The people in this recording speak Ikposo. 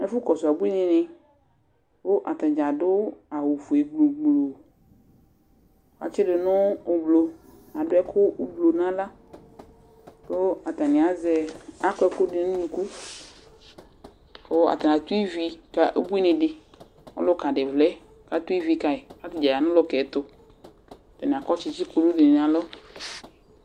Ɛfʋkɔsʋ abuinɩnɩ kʋ ata dza adʋ awʋfue gblu gblu Atsɩdʋ nʋ ʋblʋ kʋ adʋ ɛkʋ ʋblʋ nʋ aɣla kʋ atanɩ azɛ, akɔ ɛkʋ dʋ nʋ unuku kʋ atanɩ atʋ ivi ka ubuinɩ dɩ, ɔlʋka dɩ vlɛ kʋ atanɩ atʋ ivi ka yɩ kʋ atanɩ ya nʋ ɔlʋka yɛ tʋ Atanɩ akɔ tsɩtsɩ kulu dɩnɩ nʋ alɔ